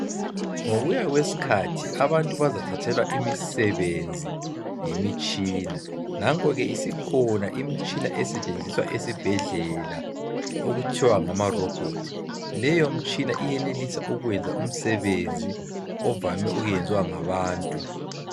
Ngokuya kwesikhathi abantu bazathathelwa imisebenzi yimitshina nanko ke isikhona imitshina esetshenziswa esibhendlela okuthwa ngamarobot leyomtshina iyenelisa ukwenza umsebenzi ovame ukwenziwa ngabantu.